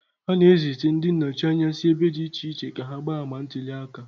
A na-ezita ndị nnọchi anya si ebe dị iche iche ka ha gbaa ama ntuli aka.